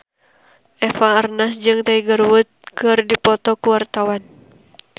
Eva Arnaz jeung Tiger Wood keur dipoto ku wartawan